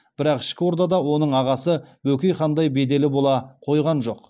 бірақ ішкі ордада оның ағасы бөкей хандай беделі бола қойған жоқ